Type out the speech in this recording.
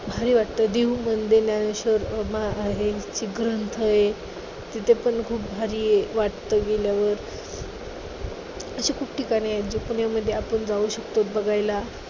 भारी वाटतं. देहू मध्ये ज्ञानेश्वर अं आहे. ग्रंथ आहे. तिथं पण खूप भारी वाटतं गेल्यावर. अशी खूप ठिकाणे आहेत जे पुण्यामध्ये आपण जाऊ शकतो बघायला.